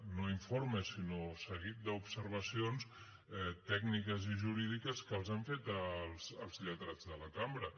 no informe sinó seguit d’observacions tècniques i jurídiques que els han fet els lletrats de la cambra